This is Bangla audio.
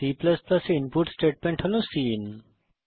এবং C এ ইনপুট স্টেটমেন্ট হল সিআইএন